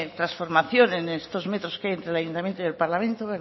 transformación en estos metros que hay entre el ayuntamiento y el parlamento